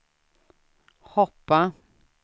hoppa